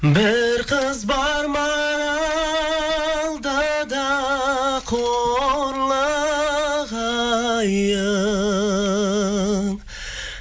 бір кыз бар маралдыда қорлығайын